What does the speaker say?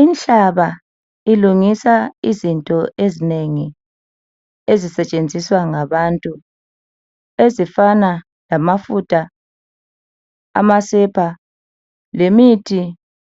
Inhlaba ilungisa izinto ezinengi ezisetshenziswa ngabantu ezifana lamafutha amasepa lemithi